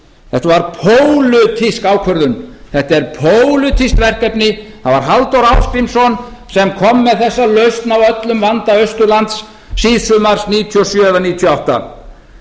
þetta var pólitísk ákvörðun þetta er pólitískt verkefni það var halldór ásgrímsson sem kom með þessa lausn á öllum vanda austurlands síðsumars nítján hundruð níutíu og sjö eða nítján hundruð níutíu og átta